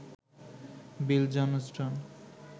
Bill Johnston